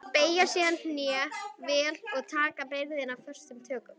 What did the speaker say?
Beygja síðan hné vel og taka byrðina föstum tökum.